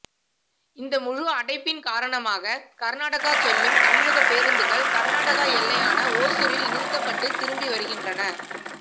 இந்த முழு அடைப்பின் காரணமாக கர்நாடக செல்லும் தமிழகப் பேருந்துகள் கர்நாடக எல்லையான ஓசூரில் நிறுத்தப்பட்டு திரும்பி வருகின்றன